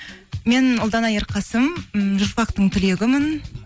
мен ұлдана ерқасым ммм журфактың түлегімін